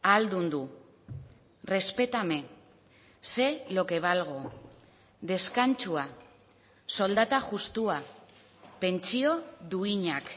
ahaldundu respétame sé lo que valgo deskantsua soldata justua pentsio duinak